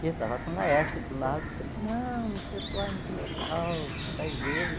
E eu estava com o Laerte do lado, sempre, não, o pessoal é muito legal, você vai ver.